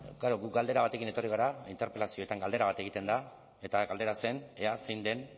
klaro gu galdera batekin etorri gara interpelazioetan galdera bat egiten da eta galdera zen ea zein den